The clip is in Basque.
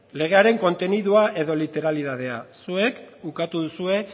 legearen kontenidua edo literalidadea zuek ukatu duzue